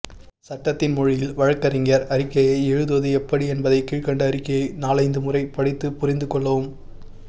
சட்டத்தின் மொழியில் வழக்கறிஞர் அறிவிக்கையை எழுதுவது எப்படி என்பதை கீழ்க்கண்ட அறிவிக்கையை நாலைந்து முறை படித்துப் புரிந்துகொள்ளவும்